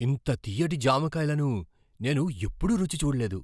ఇంత తియ్యటి జామకాయలను నేను ఎప్పుడూ రుచి చూడలేదు!